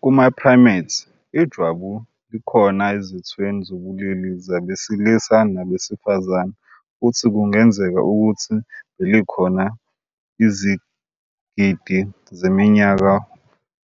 Kuma-primates, ijwabu likhona ezithweni zobulili zabesilisa nabesifazane futhi kungenzeka ukuthi belikhona izigidi zeminyaka